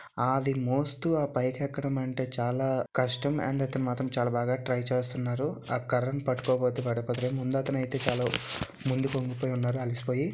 అది మోస్ట్ పైకి ఎక్కడం అయితే చాలా కష్టం కానీ అండ్ ఇతను అయితే చాలా బాగా ట్రై చేస్తున్నారు ఆ కర్రను ముందు అతను అయితే ముందుకి వంగి ఉన్నాడు అలసి పోయి.